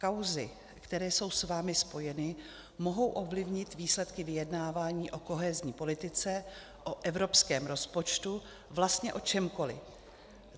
Kauzy, které jsou s vámi spojeny, mohou ovlivnit výsledky vyjednávání o kohezní politice, o evropském rozpočtu, vlastně o čemkoliv.